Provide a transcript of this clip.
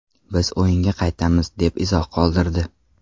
Biz o‘yinga qaytamiz”, deb izoh qoldirdi .